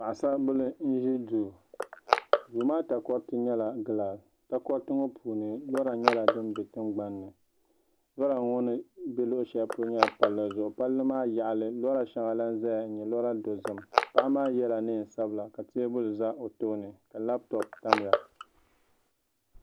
Paɣasaribili n ʒi duu duu maa takoriti nyɛla gilaas takoriti ŋo puuni lora nyɛla din bɛ tingbanni lora ŋo ni bɛ luɣu shɛli polo ŋo nyɛla palli zuɣu palli maa yaɣali lora shɛŋa lahi ʒɛya n nyɛ lora dozim paɣa maa yɛla neen sabila ka teebuli ʒɛ o tooni ka labtop tamya